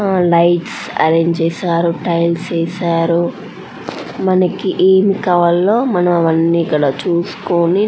ఉమ్ lights arrange చేశారు tiles ఏసారు మనకి ఏం కావాలో మనం అన్ని ఇక్కద చూసుకొని.